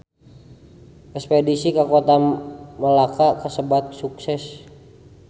Espedisi ka Kota Melaka kasebat sukses